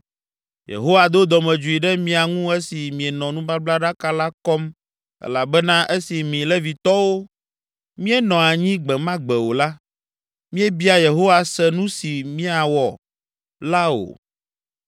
Yehowa do dɔmedzoe ɖe mia ŋu esi mienɔ nubablaɖaka la kɔm elabena esi mi Levitɔwo míenɔ anyi gbe ma gbe o la, míebia Yehowa se nu si miawɔ la o.”